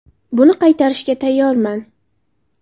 Buni qaytarishga tayyorman.